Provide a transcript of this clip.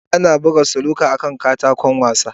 Ana buga snooker akan katako wasa.